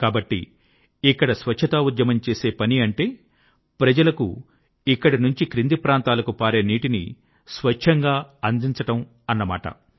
కాబట్టి ఇక్కడ స్వచ్ఛతా ఉద్యమం చేసే పని అంటే ప్రజలకు ఇక్కడి నుంచి క్రింది ప్రాంతాలకు పారే నీటిని స్వచ్ఛంగా అందించటం ద్వారా చేయడం